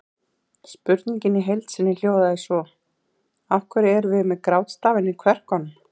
Spurningin í heild sinni hljóðaði svo: Af hverju erum við með grátstafinn í kverkunum?